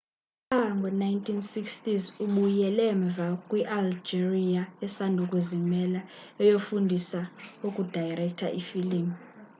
pha ngo 1960s ubuyele mva kwi algeria esandokuzimela eyofundisa ukudayirektha ifilim